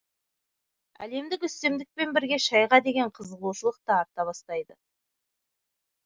әлемдік үстемдікпен бірге шайға деген қызығушылық та арта бастайды